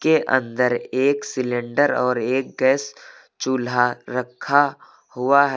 के अंदर एक सिलेंडर और एक गैस चूल्हा रखा हुआ है।